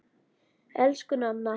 Elsku Nanna.